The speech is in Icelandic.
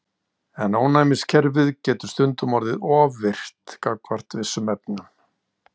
En ónæmiskerfið getur stundum orðið of virkt gagnvart vissum efnum.